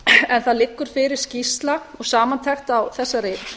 en það liggur fyrir skýrsla og samantekt á þessari